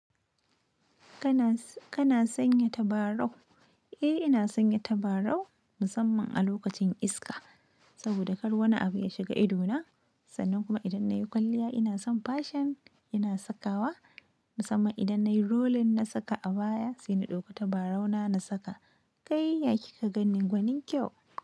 Kana, kana sanya tabarau? Eh ina sanya tabarau musamman a lokacin iska, saboda kar wani abu ya shiga ido na, sannan kuma idan na yi kwalliya ina son fashion ina sakawa musamman idan nayi rolling na saka abaya sai na ɗauko tabarau na na saka. Kai yana kyan gani gwanin kyau?